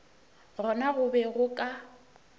gona go be go ka